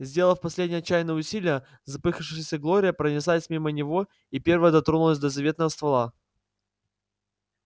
сделав последнее отчаянное усилие запыхавшаяся глория пронеслась мимо него и первая дотронулась до заветного ствола